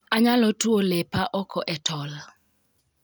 Anyalo tuo lepa oko e told